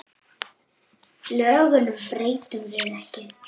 Lögunum breytum við ekki.